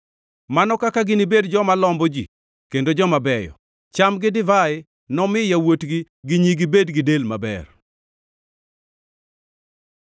Mano kaka ginibed joma lombo ji kendo joma beyo! Cham gi divai nomi yawuotgi gi nyigi, bed gi del maber.